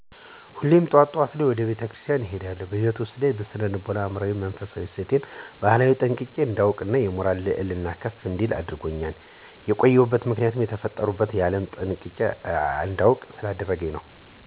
ሁሌም ጠዋት ጠዋት ወደ ቤተ ክርስቲያን እሄዳለሁ። በህይወቴ ውስጥ ስነ ልቦናዊ አእምሮአዊ እና መንፈሳው እሴት እና ባህሌን ጠንቅቄ እንዳውቅ የሞራል ልዕልናየ ከፍ እንዲል አድርጎኛል። የቆየበት ምክንያት የተፈጠርሁበትን ዓላም ጠንቅቄ እንዳውቅ ስላደረገኝ ነው።